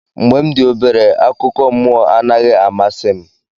Mgbe m dị obere, akụkọ mmụọ anaghị amasị m.